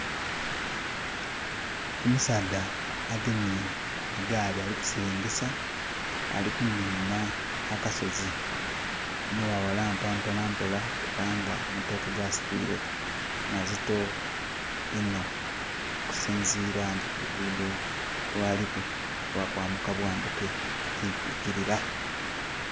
Omusaadha agemye egaali alikusilingisa, alikunhinha akasozi enho bwaghalampa mpola mpola kubanga amatooke gasitwiile mazito inho okusinziira ku nti luguudo lwa liku lwa kwambuka bwambuke ti kwikirira.